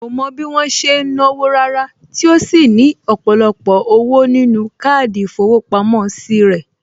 Kò mọ bí wọ́n ṣe ń náwó Rárá tí ó sì ní ọ̀pọ̀lọpọ̀ owó nínú káàdì ìfowópamọ́ sí rẹ̀